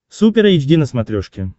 супер эйч ди на смотрешке